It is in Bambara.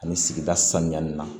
Ani sigida sanuyali la